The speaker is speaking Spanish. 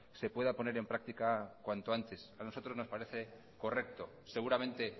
se pueda poner en práctica cuanto antes a nosotros nos parece correcto seguramente